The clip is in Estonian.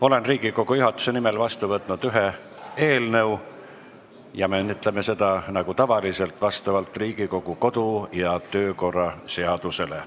Olen Riigikogu juhatuse nimel vastu võtnud ühe eelnõu, me menetleme seda nagu ikka vastavalt Riigikogu kodu- ja töökorra seadusele.